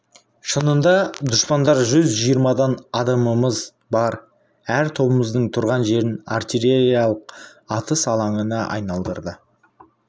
шынында дұшпандар жүз жиырмадан адамымыз бар әр тобымыздың тұрған жерін артиллериялық атыс алаңына айналдырды